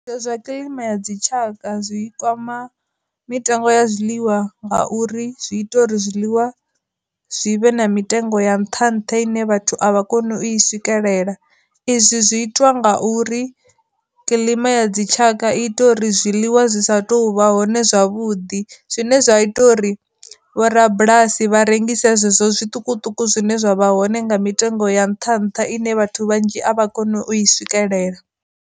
Zwa kilima ya dzitshaka zwi kwama mitengo ya zwiḽiwa nga uri zwi ita uri zwiḽiwa zwi vhe na mitengo ya nnṱha nnṱha ine vhathu a vha koni i swikelela, izwi zwi itwa nga uri kilima ya dzitshaka i ita uri zwiḽiwa zwi sa tu vha hone zwavhuḓi zwine zwa ita uri vho rabulasi vha rengise zwezwo zwiṱukuṱuku zwine zwa vha hone nga mitengo ya nnṱha nnṱha ine vhathu vhanzhi a vha koni u i swikelela.